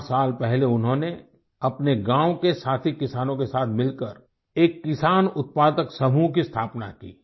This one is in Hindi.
चार साल पहले उन्होंने अपने गाँव के साथी किसानों के साथ मिलकर एक किसान उत्पादक समूह की स्थापना की